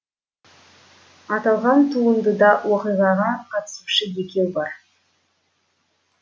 аталған туындыда оқиғаға қатысушы екеу бар